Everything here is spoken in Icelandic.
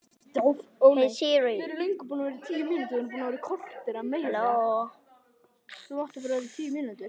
Þetta þarf að hlaupa af sér hornin!